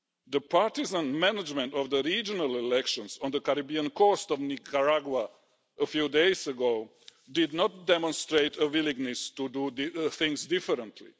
The partisan management of the regional elections on the Caribbean coast of Nicaragua a few days ago did not demonstrate a willingness to do things differently.